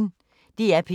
DR P1